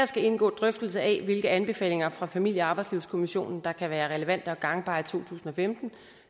skal indgå en drøftelse af hvilke af anbefalingerne fra familie og arbejdslivskommissionen der kan være relevante og gangbare i to tusind og femten